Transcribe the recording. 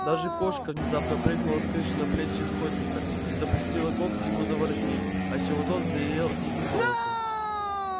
даже кошка внезапно прыгнула с крыши на плечи скотника и запустила когти ему за воротник отчего тот взревел диким голосом